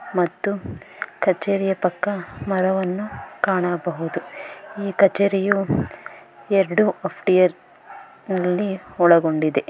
ಮತ್ತು ಕಚೇರಿಯ ಪಕ್ಕ ಮರವನ್ನು ಕಾಣಬಹುದು ಈ ಕಚೇರಿಯು ಎರಡು ಆಪ್ಟಿಯರ್ ನಲ್ಲಿ ಒಳಗೊಂಡಿದೆ.